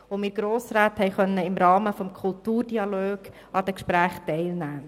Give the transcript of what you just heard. Wir Grossräte konnten im Rahmen des Kulturdialogs an den Gesprächen teilnehmen.